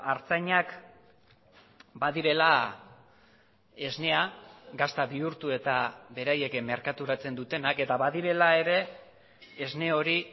artzainak badirela esnea gazta bihurtu eta beraiek merkaturatzen dutenak eta badirela ere esne hori